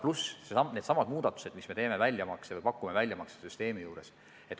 Pluss needsamad muudatused, mida me pakume väljamaksesüsteemis.